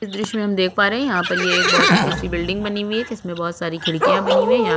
इस द्र्श्य में हम देख पा रहै है यहाँ पर ये एक बहुत ऊंची सी बिल्डिंग बनी हुई है जिसमे बहुत सारी खिड़कियाँ बनी हुई है यहाँ --